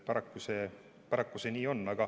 Paraku see nii on.